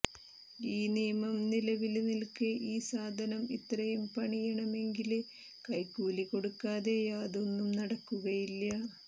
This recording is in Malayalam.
ഈ നിയമം നിലവില് നില്ക്കെ ഈ സാധനം ഇത്രയും പണിയണമെങ്കില് കൈക്കൂലി കൊടുക്കാതെ യാതൊന്നും നടക്കുകയില്ല